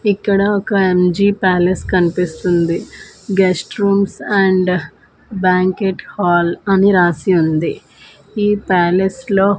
ఇక్కడ ఒక M G palace కన్పిస్తుంది guest rooms and banquet hall అని రాసి ఉంది ఈ ప్యాలెస్ లో --